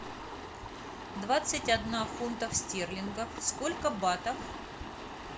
двадцать одна фунтов стерлингов сколько батов